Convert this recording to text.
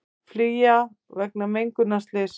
Flýja vegna mengunarslyss